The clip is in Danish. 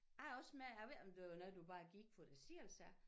Jeg er også med jeg ved ikke om det var noget du bare gik for dig selv så